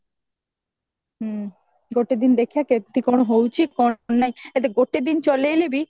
ଗୋଟେ ଦିନ ଦେଖିବା କେମତି କଣ ହଉଚି କଣ ନାଇଁ ଯଦି ଗୋଟେ ଦିନ ଚଳେଇଲେ ବି